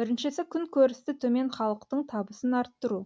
біріншісі күн көрісі төмен халықтың табысын арттыру